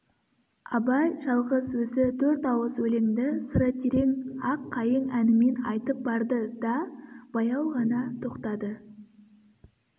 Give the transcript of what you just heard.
абай жалғыз өзі төрт ауыз өлеңді сыры терең ақ-қайың әнімен айтып барды да баяу ғана тоқтады